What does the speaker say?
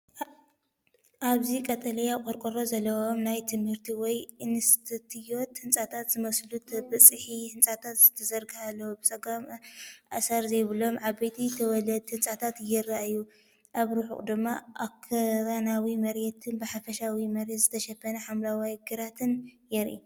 ኣብዚ ቀጠልያ ቆርቆሮ ዘለዎም ናይ ትምህርቲ ወይ ኢንስቲትዩት ህንጻታት ዝመስሉ ተበጻሒ ህንጻታት ተዘርጊሖም ኣለዉ። ብጸጋም ኣሰር ዘይብሎም ዓበይቲ ተወለድቲ ህንጻታት ይረኣዩ፣ ኣብ ርሑቕ ድማ ኣኽራናዊ መሬትን ብሕርሻዊ መሬት ዝተሸፈነ ሓምላይ ግራትን ይርአ።